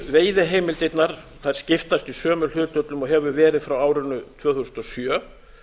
veiðiheimildirnar skiptast í sömu hlutföllum og verið hefur frá árinu tvö þúsund og sjö